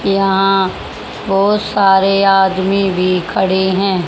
यहां बहोत सारे आदमी भी खड़े हैं।